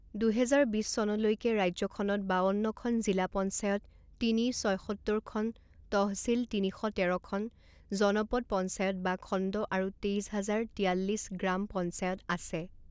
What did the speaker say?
দুহেজাৰ বিছ চনলৈকে ৰাজ্যখনত বাৱন্নখন জিলা পঞ্চায়ত তিনি ছয়সত্তৰখন তহচিল তিনি শ তেৰখন জনপদ পঞ্চায়ত বা খণ্ড আৰু তেইছ হাজাৰ তিয়াল্লিছ গ্ৰাম পঞ্চায়ত আছে।